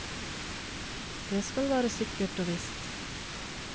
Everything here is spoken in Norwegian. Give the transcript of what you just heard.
Det skal være sikkert og visst.